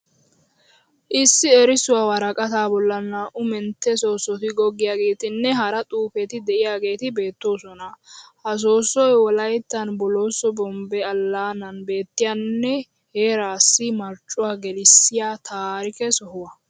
Issi erissuwa woraqataa bollan naa'u mentte soossoti goggiyageetinne hara xuufeti de'iyageeti beettoosona. Ha soossoy wolayittan bolooso bombbe allaanan beettiyanne heeraassi marccuwa gelissiya taarike soho.